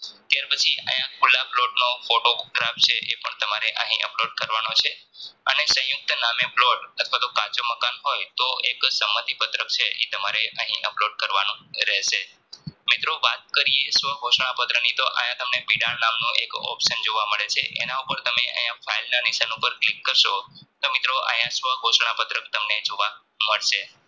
મિત્રો વાત કરીયે સ્વઘોસણા પત્રકની તો આયા તમને બીડાં નામનું એક option જોવા મળે છે એના ઉપર તમે file ના નિશાન ઉપર click કારસો તો મિત્રો આયા સ્વઘોસણા પત્રક તમને જોવા મળશે